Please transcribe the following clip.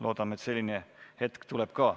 Loodame, et selline hetk tuleb ka.